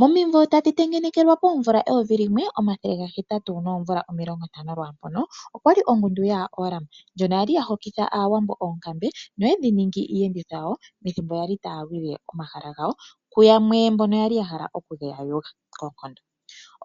Momimvo tadhi tengenekelwa poomvula 1850 lwaampono, okwali ongundu yaOram, ndjono yali ya hokitha aawambo oonkambe noye dhi ningi iiyenditho yawo pethimbo yali taya lwile omahala gawo ku yamwe mbono yali ya hala oku geya yuga koonkondo.